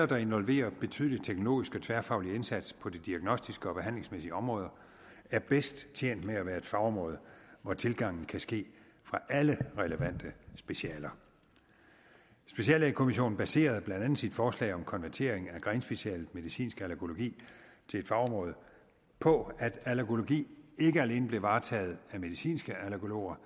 der involverer betydelig teknologisk og tværfaglig indsats på de diagnostiske og behandlingsmæssige områder er bedst tjent med at være et fagområde hvor tilgangen kan ske fra alle relevante specialer speciallægekommissionen baserede blandt andet sit forslag om konvertering af grenspecialet medicinsk allergologi til et fagområde på at allergologi ikke alene blev varetaget af medicinske allergologer